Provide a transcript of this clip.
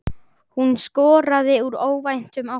Hún skoraði úr óvæntum áttum.